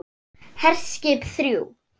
HERSKIP ÞRJÚ